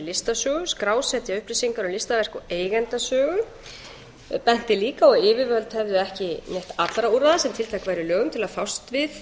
listasögu skrásetja upplýsingar um listaverk og eigendasögu hann benti líka á að yfirvöld hefðu ekki neytt allra úrræða sem tiltæk væru í lögum til að fást við